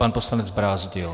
Pan poslanec Brázdil.